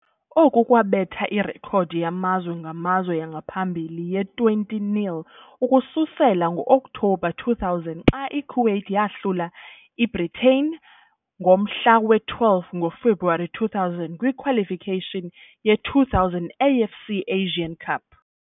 Oku kwabetha irekhodi yamazwe ngamazwe yangaphambili ye-20-0 ukususela ngo-Oktobha 2000 xa i-Kuwait yahlula i-Bhutan ngomhla we-12 ngoFebruwari 2000 kwi- qualification ye-2000 AFC Asian Cup.